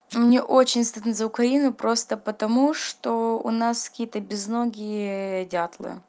мне очень стыдно за украину просто потому что у нас какие то безногие дятлы